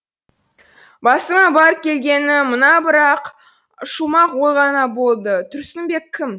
басыма бар келгені мына бір ақ шумақ ой ғана болды тұрсынбек кім